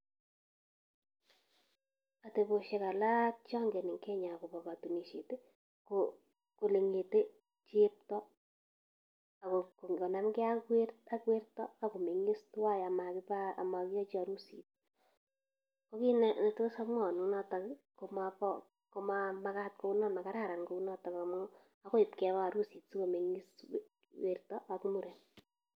Atebosiek alak chongeen en kenyaa akobo kotonusiet ko elengetee cheptoo akonamgee ak wertoo ako mengiis twaan ama kiiba keyoochi harusii. Ko kit netos amwaun en notok komamagat kounon, makararan atebonoon. Akoi ib kebaa harusi si komengiis cheptoo ak muren.